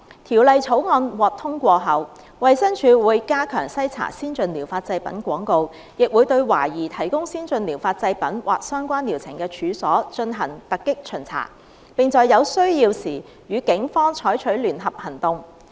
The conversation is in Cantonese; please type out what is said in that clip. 《條例草案》獲通過後，衞生署會加強篩查先進療法製品廣告，亦會對懷疑提供先進療法製品或相關療程的處所，進行突擊巡查，並在有需要時與警方採取聯合行動。